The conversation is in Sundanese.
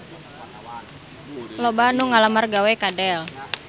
Loba anu ngalamar gawe ka Dell